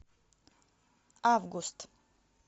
август